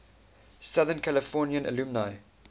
southern california alumni